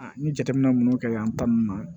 ni jateminɛ minnu kɛra yan ta nunnu ma